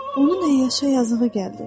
Onu əyyaşa yazığı gəldi.